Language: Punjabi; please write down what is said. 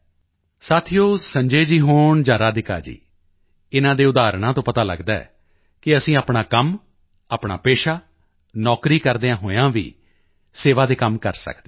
ਸਾਥੀਓ ਸੰਜੈ ਜੀ ਹੋਣ ਜਾਂ ਰਾਧਿਕਾ ਜੀ ਇਨ੍ਹਾਂ ਦੇ ਉਦਾਹਰਣਾਂ ਤੋਂ ਪਤਾ ਲਗਦਾ ਹੈ ਕਿ ਅਸੀਂ ਆਪਣਾ ਕੰਮ ਆਪਣਾ ਪੇਸ਼ਾ ਨੌਕਰੀ ਕਰਦਿਆਂ ਹੋਇਆਂ ਵੀ ਸੇਵਾ ਦੇ ਕੰਮ ਕਰ ਸਕਦੇ ਹਾਂ